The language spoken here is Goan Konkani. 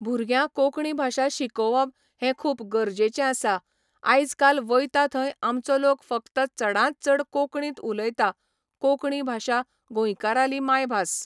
भुरग्यां कोंकणी भाशा शिकोवप हें खूब गरजेचें आसा आयज काल वयता थंय आमचो लोक फकत चडांत चड कोंकणींत उलयतां कोंकणी भाशा गोंयकाराली मायभास